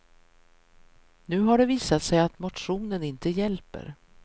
Nu har det visat sig att motionen inte hjälper.